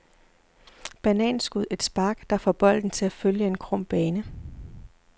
Bananskud, et spark, der får bolden til at følge en krum bane.